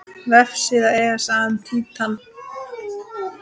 Vefsíða ESA um Títan.